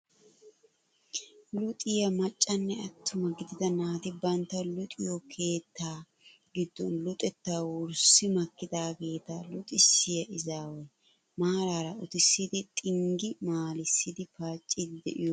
Luxxiyaa maccanne attuma gidida naati bantta luxiyoo keettaa giddon luxettaa wurssi makkidaageta luxxisiyaa izaway maarara uttisidi xinggi maalissidi paaciidi de'iyaage ayba yashshii!